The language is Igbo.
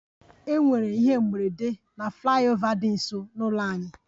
E nwere ihe mberede na flyover nso n'ụlọ anyị